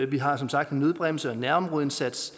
vi har som sagt en nødbremse og nærområdeindsats